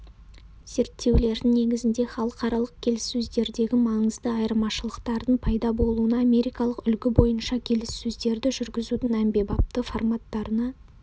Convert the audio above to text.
зерттеулердің негізінде халықаралық келіссөздердегі маңызды айырмашылықтардың пайда болуына америкалық үлгі бойынша келіссөздерді жүргізудің әмбебапты форматтарына